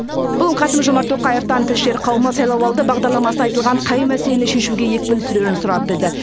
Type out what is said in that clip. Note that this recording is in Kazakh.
бүгін қасым жомарт тоқаевтан тілшілер қауымы сайлауалды бағдарламасында айтылған қай мәселені шешуге екпін түсірерін сұрап білді